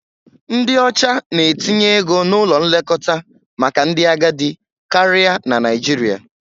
Ndị ọcha na-etinye ego n'ụlọ nlekọta maka ndị agadi karịa na Naịjirịa.